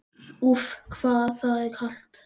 Úff, hvað það er kalt!